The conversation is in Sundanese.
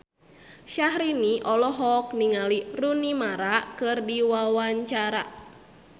Syahrini olohok ningali Rooney Mara keur diwawancara